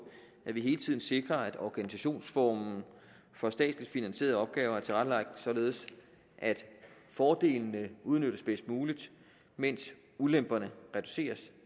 at vi hele tiden sikrer at organisationsformen for statsligt finansierede opgaver er tilrettelagt således at fordelene udnyttes bedst muligt mens ulemperne reduceres